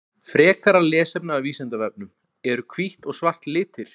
Frekara lesefni af Vísindavefnum: Eru hvítt og svart litir?